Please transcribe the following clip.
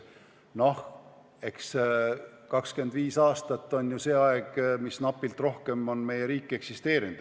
No 25 aastat on ju see aeg, napilt rohkem, mis meie riik on eksisteerinud.